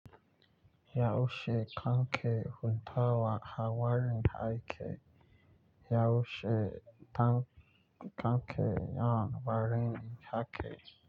Yaushe kanke huntawa ha warin kake? Yaushe kanke yan warin rake?